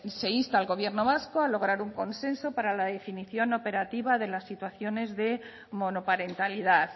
se insta al gobierno vasco a lograr un consenso para definición operativa de las situaciones de monoparentalidad